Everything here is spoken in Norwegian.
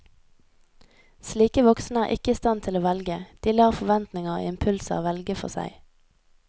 Slike voksne er ikke i stand til å velge, de lar forventninger og impulser velge for seg.